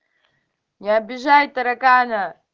не обижай таракана